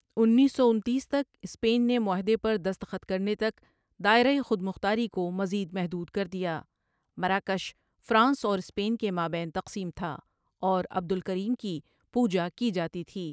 انیس سو انتیس تک اسپین نے معاہدے پر دستخط کرنے تک دائرہ خودمختاری کو مزید محدود کردیا مراکش فرانس اور اسپین کے مابین تقسیم تھا اور عبدل کریم کی پوجا کی جاتی تھی۔